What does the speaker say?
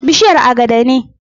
Bishiyar agada ne.